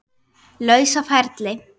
lausa ferli.